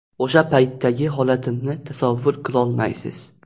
O‘sha paytdagi holatimni tasavvur qilolmaysiz.